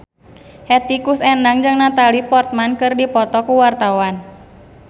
Hetty Koes Endang jeung Natalie Portman keur dipoto ku wartawan